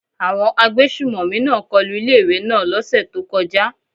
Àwọn agbésùmọ̀mí náà kọlu ilé ìwé náà lọ́ sẹ̀ tó kọjá.